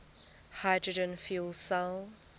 hydrogen fuel cell